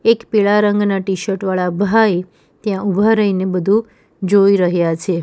એક પીળા રંગના ટીશર્ટ વાળા ભાઈ ત્યાં ઉભા રહીને બધું જોઈ રહ્યા છે.